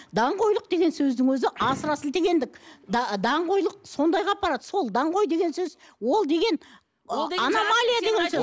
даңғойлық деген сөздің өзі асыра сілтегендік даңғойлық сондайға апарады сол даңғойлық деген сөз ол деген ы аномалия деген сөз